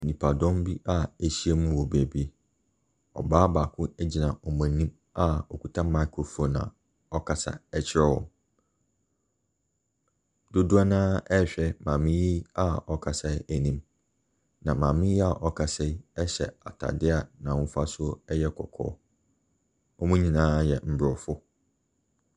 Nnipadɔm bi a ɛhyia mu wɔ baabi. Ɔbaa baako egyina wɔn anim a ɔkuta microphone a ɔkasa kyerɛ wɔn. Dodoɔ naa rehwɛ maame yi ɔkasa n'anim. Na maame yi ɔkasa yi ɛhyɛ ataade a n'ahofasuo ɛyɛ kɔkɔɔ. Wɔn nyinaa yɛ abrɔfo.